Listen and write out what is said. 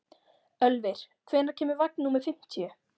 Ölvir, hvenær kemur vagn númer fimmtíu?